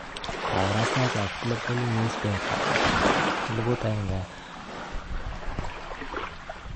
Kabarastaet ab Global Newspaper 1200 12/03/2018